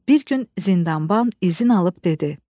Bir gün zindanban izin alıb dedi: